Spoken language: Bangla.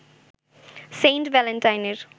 সেইন্ট ভ্যালেন্টাইনের